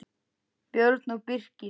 Björn og Birkir.